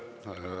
Aitäh!